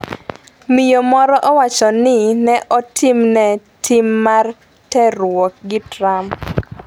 Miyo moro owacho ni ne otimne tim mar terruok gi Trump